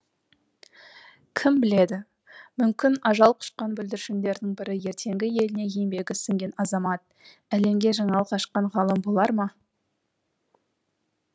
кім біледі мүмкін ажал құшқан бүлдіршіндердің бірі ертеңгі еліне еңбегі сіңген азамат әлемге жаңалық ашқан ғалым болар ма